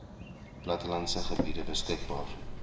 plattelandse gebiede beskikbaar